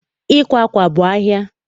Ịkwa akwa bụ ahia